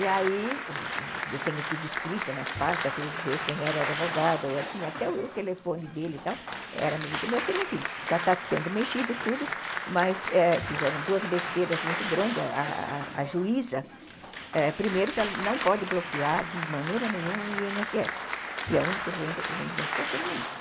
E aí, eu tenho tudo escrito nas pastas, fui ver quem era o advogado, eu tinha até o telefone dele e tal, era amigo do meu filho, enfim, já está sendo mexido tudo, eh mas fizeram duas besteiras muito grandes, a juíza, primeiro, que ela não pode bloquear de maneira nenhuma o i ene esse esse, e o único rendimento que eu tenho é isso.